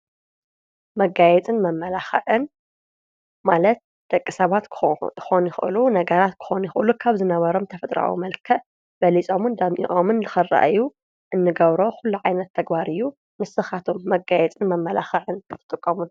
መጋየፅን መመላኽዕን ማለት ደቂ ሰባት ክኾኑ ይኽእሉ ነገራት ክኾኑ ይኽአሉ ካብ ዝነበሮም ተፍጥራኣዊ መልከዕ በሊጾሙን ደሚቖምን ልኸረአዩ እንገብሮ ዂሉ ዓይነት ተግባር እዩ፡፡ ንስኻትኩም መጋየፅን መመላኻዕን ትጥቀሙ ዶ?